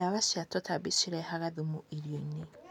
Ndawa cia tũtambi cirehaga thumu irioinĩ.